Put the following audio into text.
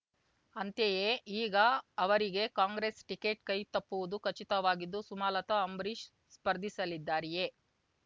ಅಂತೆಯೇ ಈಗ ಅವರಿಗೆ ಕಾಂಗ್ರೆಸ್ ಟಿಕೇಟ್ ಕೈತಪ್ಪುವುದು ಖಚಿತವಾಗಿದ್ದು ಸುಮಲತಾ ಅಂಬರೀಷ್ ಸ್ಪರ್ಧಿಸಲಿದ್ದಾರೆಯೇ